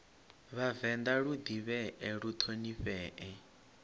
vhavenḓa lu ḓivhee lu ṱhonifhee